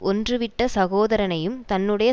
ஒன்றுவிட்ட சகோதரனையும் தன்னுடைய